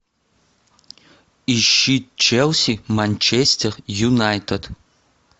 ищи челси манчестер юнайтед